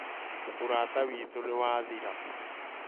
ũrata witũ nĩ wathĩra